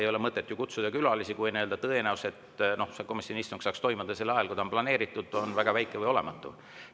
Külalistel ei ole mõtet ju tulla, kui tõenäosus, et see komisjoni istung saaks toimuda sel ajal, kui on planeeritud, on väga väike või olematu.